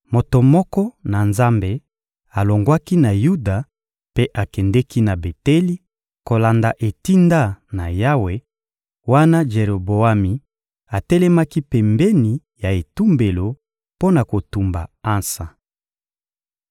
Moto moko na Nzambe alongwaki na Yuda mpe akendeki na Beteli, kolanda etinda na Yawe, wana Jeroboami atelemaki pembeni ya etumbelo mpo na kotumba ansa.